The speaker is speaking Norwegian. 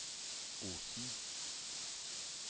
Osen